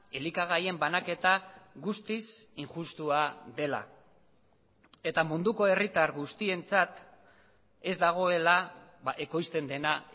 elikagaien banaketa guztiz injustua dela eta munduko herritar guztientzat ez dagoela ekoizten dena